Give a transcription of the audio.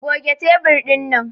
Goge tebur dinnan!